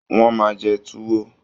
Wọ́n máa jẹ Tuwo